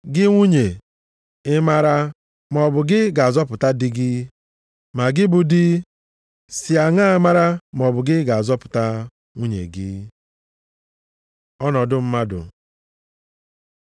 Gị nwunye, ị mara maọbụ gị ga-azọpụta di gị? Ma, gị bụ di, si aṅa mara maọbụ gị ga-azọpụta nwunye gị? Ọnọdụ mmadụ